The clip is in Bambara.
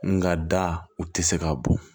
Nga da u tɛ se ka bɔ